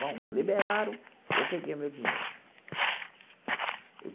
Bom, liberaram, eu peguei o meu dinheiro.